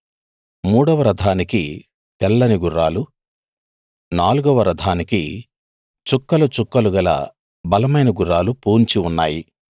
మూడవ రథానికి తెల్లని గుర్రాలు నాలుగవ రథానికి చుక్కలు చుక్కలుగల బలమైన గుర్రాలు పూన్చి ఉన్నాయి